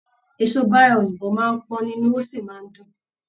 Eso bára òyìnbó máa n pọn nínú, o sí máa n dùn.